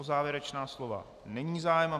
O závěrečná slova není zájem.